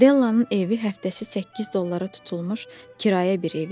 Della'nın evi həftəsi 8 dollara tutulmuş kirayə bir ev idi.